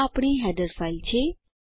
આ આપણીheader ફાઇલ છે